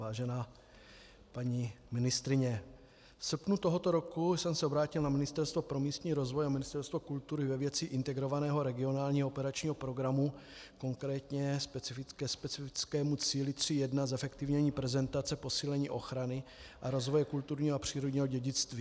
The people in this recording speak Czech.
Vážená paní ministryně, v srpnu tohoto roku jsem se obrátil na Ministerstvo pro místní rozvoj a Ministerstvo kultury ve věci Integrovaného regionálního operačního programu, konkrétně ke specifickému cíli 3.1 Zefektivnění prezentace, posílení ochrany a rozvoje kulturního a přírodního dědictví.